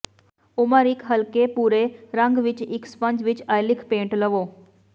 ਉਮਰ ਇੱਕ ਹਲਕੇ ਭੂਰੇ ਰੰਗ ਵਿੱਚ ਇੱਕ ਸਪੰਜ ਅਤੇ ਅੇਿਲਿਕ ਪੇਂਟ ਲਵੋ